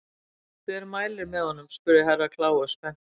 Hver mælir með honum spurði Herra Kláus spenntur.